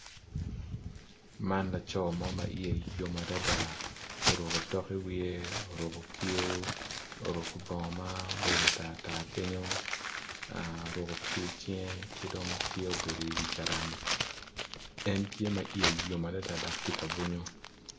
Man laco mo ma iye yom adada oruko otok i iwiye oruko kiu oruko bongo ma obedo tar tar kenyo oruko kiu icinge ki dong tye obedo i wi carani en tye ma iye yom adada dok tye ka bunyu.